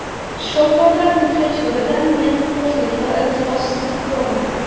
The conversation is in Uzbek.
Shifokorlarning hech biridan men qo‘rslik va iltifotsizlik ko‘rmadim.